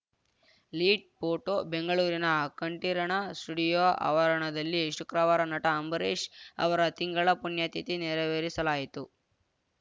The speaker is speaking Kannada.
ಲೀಡ್‌ ಫೋಟೋ ಬೆಂಗಳೂರಿನ ಕಂಠೀರಣ ಸ್ಟುಡಿಯೋ ಆವರಣದಲ್ಲಿ ಶುಕ್ರವಾರ ನಟ ಅಂಬರೀಷ್‌ ಅವರ ತಿಂಗಳ ಪುಣ್ಯತಿಥಿ ನೆರವೇರಿಸಲಾಯಿತು